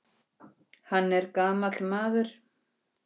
Og um kvöldið hringdi Gerður.